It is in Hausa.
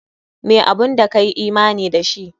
Meh abun da ka yi imani da shi?